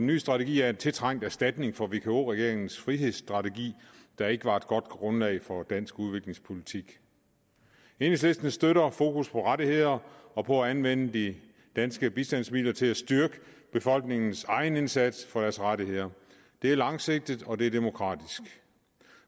nye strategi er en tiltrængt erstatning for vk regeringens frihedsstrategi der ikke var et godt grundlag for dansk udviklingspolitik enhedslisten støtter fokus på rettigheder og på at anvende de danske bistandsmidler til at styrke befolkningens egen indsats for deres rettigheder det er langsigtet og det er demokratisk